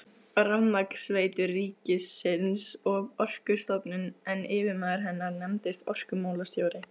Rafmagnsveitur ríkisins og Orkustofnun, en yfirmaður hennar nefndist orkumálastjóri.